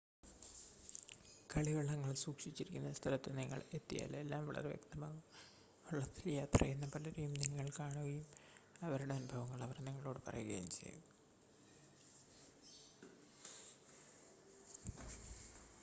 കളിവള്ളങ്ങൾ സൂക്ഷിച്ചിരിക്കുന്ന സ്ഥലത്ത് നിങ്ങൾ എത്തിയാൽ എല്ലാം വളരെ വ്യക്തമാകും വള്ളത്തിൽ യാത്ര ചെയ്യുന്ന പലരെയും നിങ്ങൾ കാണുകയും അവരുടെ അനുഭവങ്ങൾ അവർ നിങ്ങളോട് പറയുകയും ചെയ്യും